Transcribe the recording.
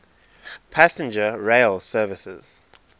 passenger rail services